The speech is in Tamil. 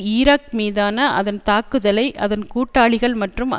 ஈராக் மீதான அதன் தாக்குதலை அதன் கூட்டாளிகள் மற்றும்